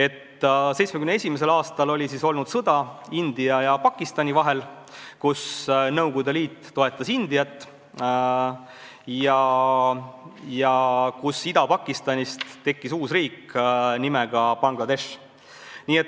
1971. aastal oli olnud sõda India ja Pakistani vahel, kus Nõukogude Liit toetas Indiat ja kus Ida-Pakistanist tekkis uus riik nimega Bangladesh.